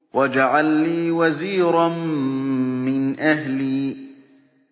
وَاجْعَل لِّي وَزِيرًا مِّنْ أَهْلِي